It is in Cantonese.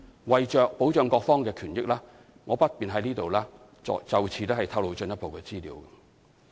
為保障各方的權益，我不便在此透露進一步資料。